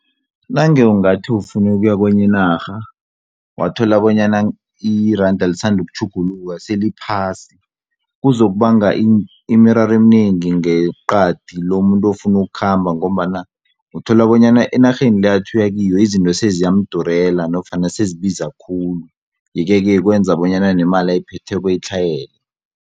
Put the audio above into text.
Nange ungathi ufuna ukuya kwenye inarha wathola bonyana iranda lisanda ukutjhuguluka seliphasi kuzokubanga imiraro eminengi ngeqadi lomuntu ofuna ukukhamba ngombana uthola bonyana enarheni le athi uyakiyo izinto seziyamdurela nofana sezibiza khulu yeke-ke kwenza bonyana nemali ayiphetheko itlhayele.